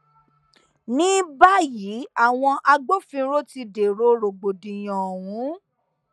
ní báyìí àwọn agbófinró ti dèrò rògbòdìyàn ọhún